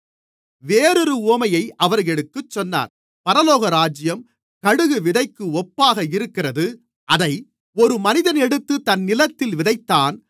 வேறொரு உவமையை அவர்களுக்குச் சொன்னார் பரலோகராஜ்யம் கடுகுவிதைக்கு ஒப்பாக இருக்கிறது அதை ஒரு மனிதன் எடுத்துத் தன் நிலத்தில் விதைத்தான்